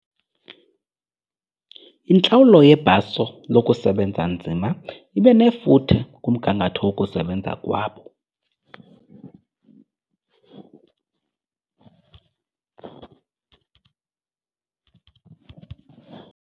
Intlawulo yebhaso lokusebenza nzima ibe nefuthe kumgangatho wokusebenza kwabo.